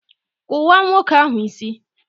kụwaa nwoke ahụ isí!